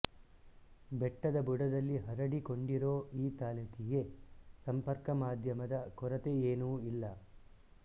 ಬೆಟ್ಟದ ಬುಡದಲ್ಲಿ ಹರಡಿ ಕೊಂಡಿರೋ ಈ ತಾಲೂಕಿಗೆ ಸಂಪರ್ಕ ಮಾಧ್ಯಮದ ಕೊರತೆಯೇನು ಇಲ್ಲ